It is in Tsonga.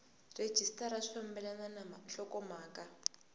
rhejisitara swi fambelena na nhlokomhaka